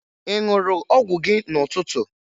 Ị ṅụrụ ọgwụ gị n'ụtụtụ?